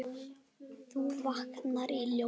þú vaknar í ljósi.